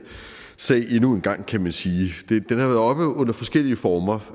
sag endnu en gang kan man sige i forskellige former